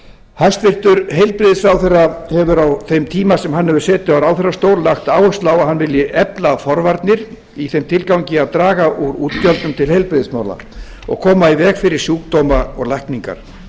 hæstvirtur heilbrigðisráðherra hefur á þeim tíma sem hann hefur setið á ráðherrastóli lagt áherslu á að hann vilji efla forvarnir í þeim tilgangi að draga úr útgjöldum til heilbrigðismála og koma í veg fyrir sjúkdóma og lækningar